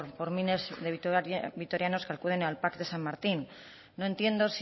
por miles de vitorianos que acuden al pac de san martin no entiendo